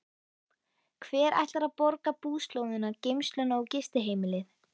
Hver ætlar að borga búslóðina, geymsluna og gistiheimilið?